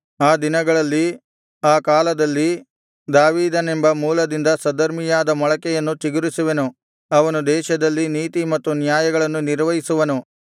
ಆ ದಿನಗಳಲ್ಲಿ ಆ ಕಾಲದಲ್ಲಿ ದಾವೀದನೆಂಬ ಮೂಲದಿಂದ ಸದ್ಧರ್ಮಿಯಾದ ಮೊಳಕೆಯನ್ನು ಚಿಗುರಿಸುವೆನು ಅವನು ದೇಶದಲ್ಲಿ ನೀತಿ ಮತ್ತು ನ್ಯಾಯಗಳನ್ನು ನಿರ್ವಹಿಸುವನು